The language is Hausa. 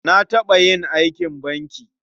Na taɓa yin aikin banki.